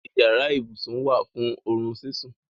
Yàrá-íbusùn wá fún orún síṣún.